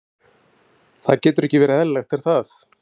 Það getur ekki verið eðlilegt, er það?